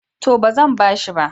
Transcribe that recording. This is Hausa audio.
To, ba zan ba shi ba.